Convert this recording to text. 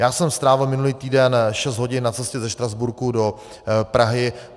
Já jsem strávil minulý týden šest hodin na cestě ze Štrasburku do Prahy.